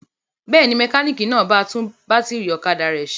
Bẹ́ẹ̀ ni, mẹkáníkì náà ba tún bátírí ọ̀kadà rẹ̀ ṣe.